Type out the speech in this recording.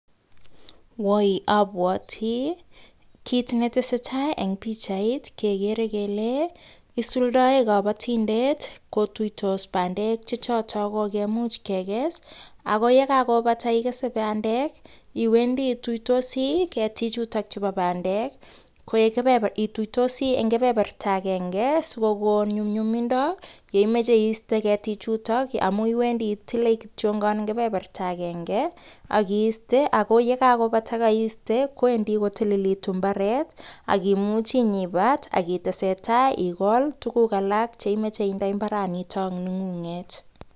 Woi abwatikit netesetai en bichait kegere Kole isuldoi kabatindet ko tuiyos bandek Che choton kokemich kekes ayekakobata kekes bandek iwendii iyuitosi ketik chuton chebo bandek ko kebeberta iyuitosi koik agenge sikokonin nyuyumindo yanimache site ketik chuton amun iwendii itile kityo kebeberta agenge akiste ak yegakobata yekaiste kowendi kotilikitun imbaret akimuchi inyon ibat tesetai igol tuguk alak chemache inde imbaraniton nengunget